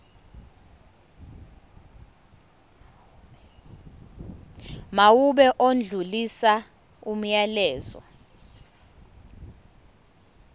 mawube odlulisa umyalezo